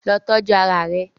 Lọ tọju ara rẹ!